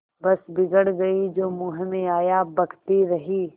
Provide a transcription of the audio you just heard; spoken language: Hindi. बस बिगड़ गयीं जो मुँह में आया बकती रहीं